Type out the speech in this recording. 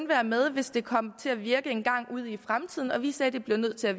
være med hvis det kom til at virke engang ud i fremtiden og vi sagde at det blev nødt til at